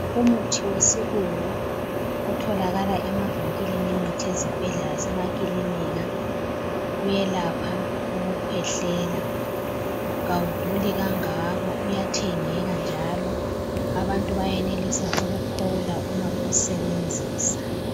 Umuthi wesilungu otholakala emavinkilini emithi, ezibhedlela, lasemakilinika, uyelapha ukukhwehlela. Kawuduli kangako, uyathengeka, njalo abantu bayenelisa ukuphola uma bewusebenzisa.